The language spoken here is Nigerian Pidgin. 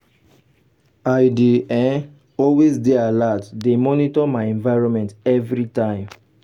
i dey um always dey alert dey monitor my environment everytime.